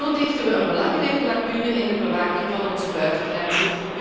Zo dichten we een belangrijke lacune in de bewaking van onze buitengrenzen.